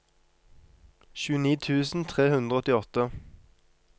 tjueni tusen tre hundre og åttiåtte